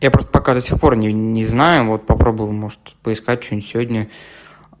я просто пока до сих пор не не знаю вот попробую может поискать что-нибудь сегодня